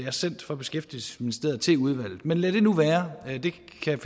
er sendt fra beskæftigelsesministeriet til udvalget men lad det nu være det kan